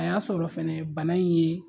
A y'a sɔrɔ fɛnɛ bana in ye